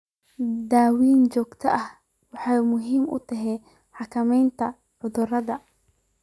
Daawaynta joogtada ahi waxay muhiim u tahay xakamaynta cudurrada.